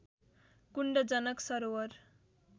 कुण्ड Janak सरोवर